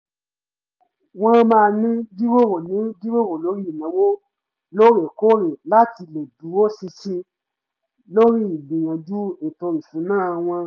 wọ́n máa ń jíròrò ń jíròrò lórí ìnáwó lóorekóòrè láti lè dúró ṣinṣin lórí ígbìyànjú ètò ìṣúná wọn